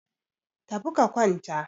tafi ka kwanta!